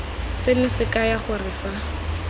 seno se kaya gore fa